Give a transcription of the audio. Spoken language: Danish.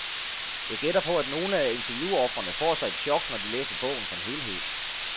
Jeg gætter på, at nogle af interviewofrene får sig et chok, når de læser bogen som helhed.